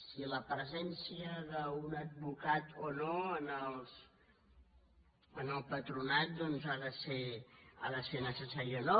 si la presència d’un advocat o no en el patronat doncs ha de ser necessària o no